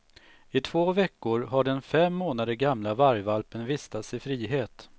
I två veckor har den fem månader gamla vargvalpen vistats i frihet.